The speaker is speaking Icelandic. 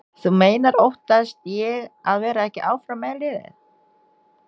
Þú meinar óttast ég að vera ekki áfram með liðið?